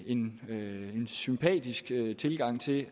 en sympatisk tilgang til